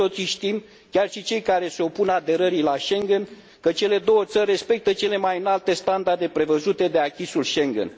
Cu toții știm, chiar și cei care se opun aderării la Schengen, că cele două țări respectă cele mai înalte standarde prevăzute de acquis ul Schengen.